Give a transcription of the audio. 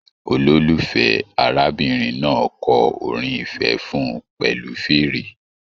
Ololufẹ arábìnrin náà kọ orin ifẹ fún pẹlu fèèrè.